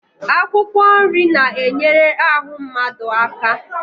Akwụkwọ nri na-enyere ahụ mmadụ aka